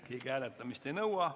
Keegi hääletamist ei nõua.